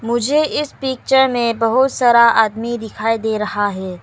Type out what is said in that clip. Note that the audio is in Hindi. मुझे इस पिक्चर में बहुत सारा आदमी दिखाई दे रहा है।